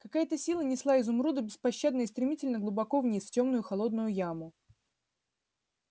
какая-то сила несла изумруда беспощадно и стремительно глубоко вниз в тёмную и холодную яму